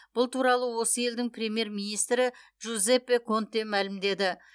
бұл туралы осы елдің премьер министрі джузеппе конте мәлімдеді